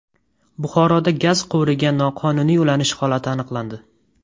Buxoroda gaz quvuriga noqonuniy ulanish holati aniqlandi.